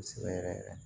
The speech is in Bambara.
Kosɛbɛ yɛrɛ yɛrɛ